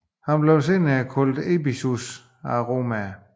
Han blev senere kaldt Ebusus af romerne